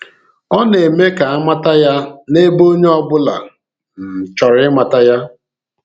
Ọ na-eme ka a mata ya n’ebe onye ọ bụla um chọrọ ịmata ya.